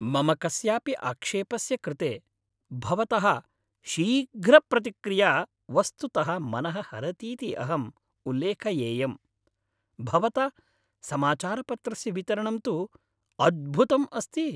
मम कस्यापि आक्षेपस्य कृते भवतः शीघ्रप्रतिक्रिया वस्तुतः मनः हरतीति अहं उल्लेखयेयम्। भवता समाचारपत्रस्य वितरणं तु अद्भुतम् अस्ति।